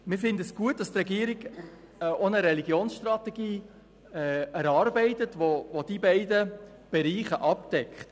Wir finden es gut, dass die Regierung eine Religionsstrategie erarbeitet, welche diese beiden Bereiche abdeckt.